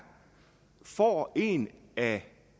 får en af